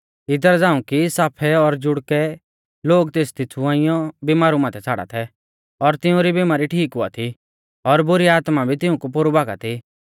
इदरा झ़ांऊ कि साफै और जुड़कै लोग तेसदी छ़ुआइंयौ बिमारु माथै छ़ाड़ा थै और तिउंरी बिमारी ठीक हुआ थी और बुरी आत्मा भी तिऊंकु पोरु भागा थी